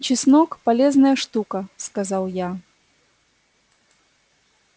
чеснок полезная штука сказал я